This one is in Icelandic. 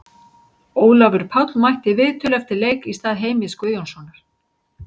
Ólafur Páll mætti í viðtöl eftir leik í stað Heimis Guðjónssonar.